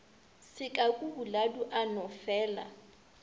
sekaku boladu a no felaa